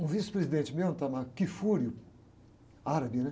Um vice-presidente mesmo, o, árabe, né?